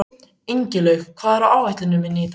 Ingilaug, hvað er á áætluninni minni í dag?